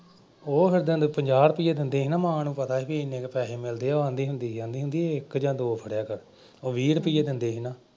ਉਹ ਫਿਰ ਓਦਾਂ ਪੰਜਾਹ ਰੁਪਈਏ ਦਿੰਦੇ ਸੀ ਨਾ ਮਾਂ ਨੂੰ ਪਤਾ ਸੀ ਬਈ ਐਨੇ ਕੁ ਪੈਸੇ ਮਿਲਦੇ ਆ। ਆਂਹਦੀ ਹੁੰਦੀ ਸੀ, ਆਂਹਦੀ ਹੁੰਦੀ ਸੀ ਇੱਕ ਜਾਂ ਦੋ ਫੜਿਆ ਕਰ। ਉਹ ਵੀਹ ਰੁਪਈਏ ਦਿੰਦੇ ਸੀ ਨਾ।